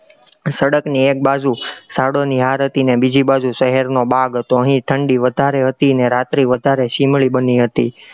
સડકની એક બાજુ સડોની હાર હતી અને બીજી બાજુ શહેરનો બાગ હતો, અહીં ઠંડી વધારે હતી ને રાત્રી વધારે શીમળી બની હતી,